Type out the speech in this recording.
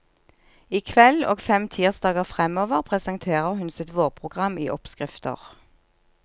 I kveld og fem tirsdager fremover presenterer hun sitt vårprogram i oppskrifter.